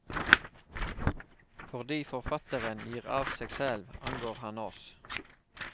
Fordi forfatteren gir av seg selv, angår han oss.